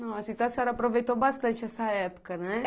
Nossa, então a senhora aproveitou bastante essa época, né?